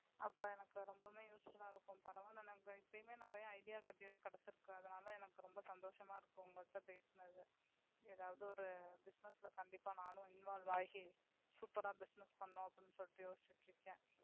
அப்ப எனக்கு ரொம்ப useful ஆஹ் இருக்கும். பரவாயில்ல இப்பவுமே எனக்கு நிறைய idea கிடைச்சிருக்கு. அதனால எனக்கு ரொம்ப சந்தோசமா இருக்கு உங்க கூட பேசினது ஏதாவது ஒரு business ல நானும் involve ஆகி super ஆஹ் business பண்ணலாம்னு யோசிச்சிட்டுயிருக்கேன்.